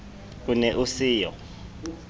o ne o se yo